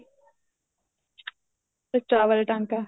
ਤੇ ਚਾਵਲ ਟਾਂਕਾ